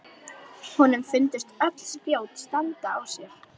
Honum fundust öll spjót standa á sér.